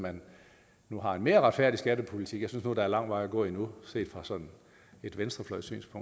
man nu har en mere retfærdig skattepolitik jeg synes nu der er lang vej at gå endnu set fra et venstrefløjssynspunkt